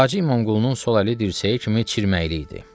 Hacı İmamqulunun sol əli dirsəyə kimi çirməyili idi.